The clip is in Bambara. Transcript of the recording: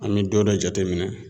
An bɛ don dɔ jate minɛ